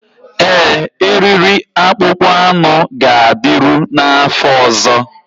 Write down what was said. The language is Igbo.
Ee, eriri akpụkpọ anụ ga-adịru n'afọ ọzọ